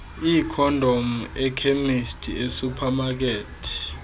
iikhondom ekhemisti esuphamakethi